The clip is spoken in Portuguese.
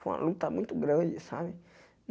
Foi uma luta muito grande, sabe?